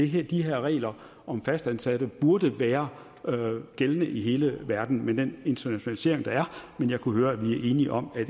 her regler om fastansatte burde være gældende i hele verden med den internationalisering der er men jeg kunne høre at vi er enige om at